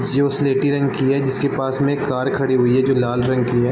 जो स्लेटी रंग की है जिसके पास में एक कार खड़ी है जो लाल रंग की है।